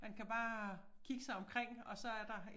Man kan bare kigge sig omkring og så er der